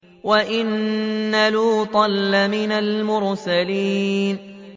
وَإِنَّ لُوطًا لَّمِنَ الْمُرْسَلِينَ